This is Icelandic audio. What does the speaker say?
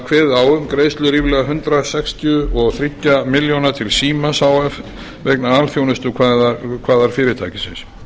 kveðið á um greiðslu ríflega hundrað sextíu og þrjú ja milljóna til símans h f vegna alþjónustukvaðar fyrirtækisins